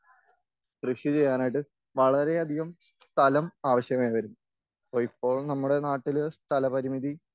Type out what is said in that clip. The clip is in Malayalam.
കൃഷി ചെയ്യാനായിട്ട് വളരെയധികം സ്ഥലം ആവശ്യമായി വരും.ഇപ്പോൾ നമ്മുടെ നാട്ടില് സ്ഥല പരിമിതി